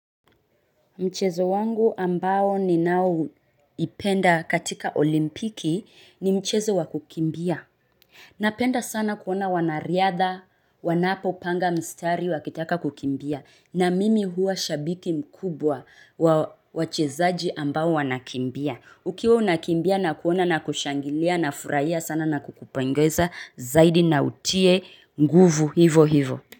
Mchezo wangu ambao ninaoipenda katika olimpiki, ni mchezo wa kukimbia. Napenda sana kuona wanariadha, wanapopanga mstari wakitaka kukimbia. Na mimi huwa shabiki mkubwa wa wachezaji ambao wanakimbia ukiwa unakimbia na kuona na kushangilia na furahia sana na kukupongeza zaidi na utie nguvu hivo hivo.